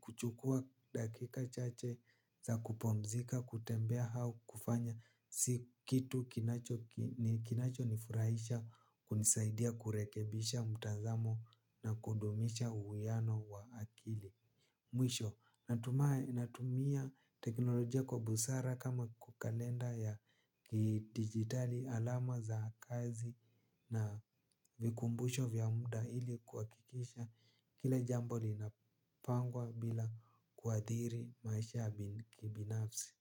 Kuchukua dakika chache za kupumzika, kutembea hau kufanya si kitu kinacho nifurahisha kunisaidia kurekebisha mtazamo na kundumisha uwiano wa akili. Mwisho, natumia teknolojia kwa busara kama kwa kalenda ya kidijitali alama za kazi na vikumbusho vya muda ili kuhakikisha kila jambo linapangwa bila kuadhiri maisha ya kibinafsi.